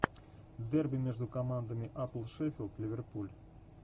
дерби между командами апл шеффилд ливерпуль